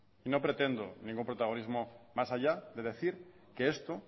y no pretendo ningún protagonismo mas allá de decir que esto